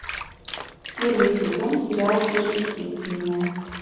первый сезон сериал сверхъестественное